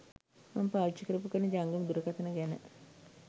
මම පාවිචි කරපු කරන ජංගම දුරකතන ගැන